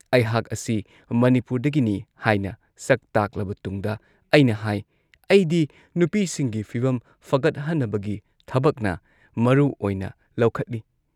ꯑꯩꯍꯥꯥꯛ ꯑꯁꯤ ꯃꯅꯤꯄꯨꯔꯗꯒꯤꯅꯤ ꯍꯥꯏꯅ ꯁꯛ ꯇꯥꯛꯂꯕ ꯇꯨꯡꯗ ꯑꯩꯅ ꯍꯥꯏ "ꯑꯩꯗꯤ ꯅꯨꯄꯤꯁꯤꯡꯒꯤ ꯐꯤꯚꯝ ꯐꯒꯠꯍꯟꯅꯕꯒꯤ ꯊꯕꯛꯅ ꯃꯔꯨꯑꯣꯏꯅ ꯂꯧꯈꯠꯂꯤ ꯫